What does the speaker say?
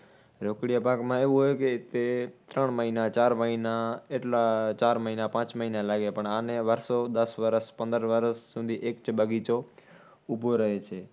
રોકડિયા પાકમાં એવું હોય કે તે ત્રણ મહિના ચાર મહિના એટલા ચાર મહિના પાંચ મહીના લાગે. પણ આને વર્ષો દસ વર્ષ પંદર વર્ષ સુધી એક બગીચો ઊભો રહે છે